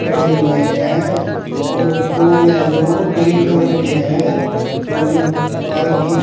गड़े हुए है और पोल है जो ग्रीन कलर के है और जो पारक की--